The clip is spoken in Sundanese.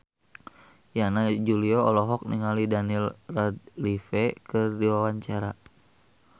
Yana Julio olohok ningali Daniel Radcliffe keur diwawancara